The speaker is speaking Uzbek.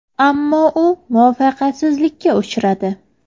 Ammo u muvaffaqiyatsizlikka uchradi.